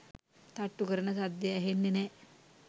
තට්ටු කරන සද්දෙ ඇහෙන්නේ නෑ”.